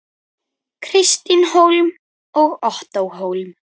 Kristín Hólm og Ottó Hólm.